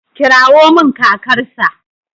Kirawo min kakarsa.